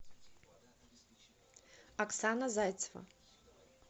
оксана зайцева